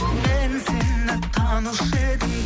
мен сені танушы едім